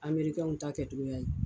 Amerikɛnw ta kɛcogoya ye